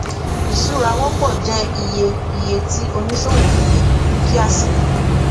ìṣura wọpọ jẹ iye iye tí oníṣòwò fi dúkìá sí